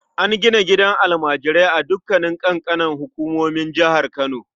An gina gidan almajirai a dukanin ƙananan hukumomin jihar Kano.